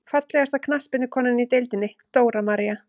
Fallegasta knattspyrnukonan í deildinni: Dóra María.